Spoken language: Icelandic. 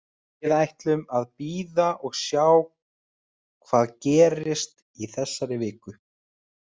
Við ætlum að bíða og sjá hvað gerist í þessari viku.